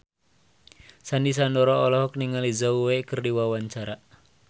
Sandy Sandoro olohok ningali Zhao Wei keur diwawancara